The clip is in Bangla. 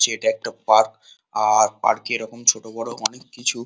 যে এটা একটা পার্ক আ-আ-র পার্ক এ এরকম ছোটবড় অনেক কিছু--